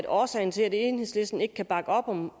årsagen til at enhedslisten ikke kan bakke op om